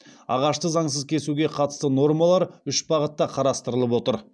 ағашты заңсыз кесуге қатысты нормалар үш бағытта қарастырылып отыр